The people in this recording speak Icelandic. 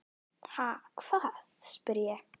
Ha, hvað? spyr ég.